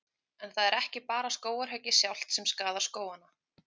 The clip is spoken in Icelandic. En það er ekki bara skógarhöggið sjálft sem skaðar skógana.